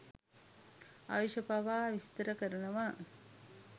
ආයුෂ පවා විස්තර කරනවා.